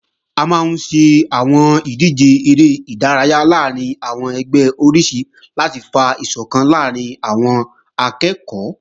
A máa ń ṣe àwọn ìdíje eré ìdárayá láàrín àwọn ẹgbẹ́ oríṣi láti fa ìsọ̀kan láàrín àwọn akẹ́ẹ̀kọ́